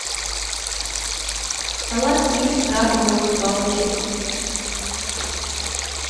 салат из крабовых палочек